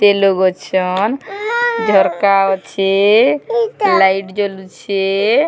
ତେଲ ଲଗଉଛନ ଝରକା ଅଛେ ଲାଇଟ ଜଳୁଛେ ।